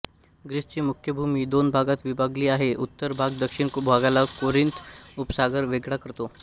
ग्रीसची मुख्य भूमी दोन भागात विभागली आहे उत्तर भाग दक्षिण भागाला कोरिंथ उपसागर वेगळा करतो